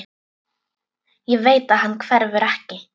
Ég veit að hann hverfur ekki.